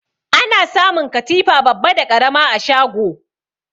Ana samun katifa babba da ƙarama a shago.